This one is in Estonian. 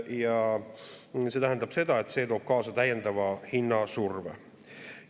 Ja see tähendab seda, et see toob kaasa täiendava hinnasurve.